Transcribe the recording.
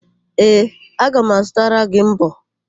Ee, aga m azụtara gị mbọ.